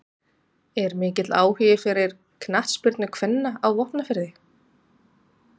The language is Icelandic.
Er mikill áhugi fyrir knattspyrnu kvenna á Vopnafirði?